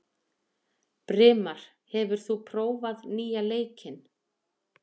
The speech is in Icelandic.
Brimar, hefur þú prófað nýja leikinn?